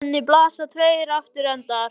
Við henni blasa tveir aftur endar.